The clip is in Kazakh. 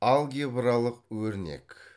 алгебралық өрнек